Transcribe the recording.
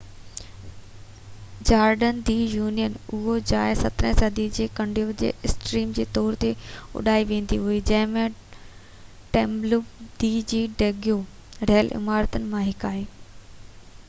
Jordan دي يونين اهو جاءِ 17 صدي جي ڪنوينٽ جي ايٽريم جي طور تي اڏي ويئي هئي جنهن ۾ ٽيمپلو دي سان ڊيگو رهيل عمارتن مان هڪ آهي